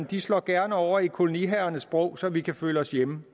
de slår gerne over i koloniherrernes sprog så vi kan føle os hjemme